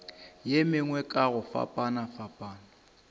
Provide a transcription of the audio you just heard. ye mengwe ka go fapafapana